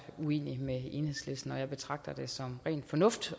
er uenig med enhedslisten og jeg betragter det oftest som ren fornuft